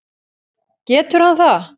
Getur hann það?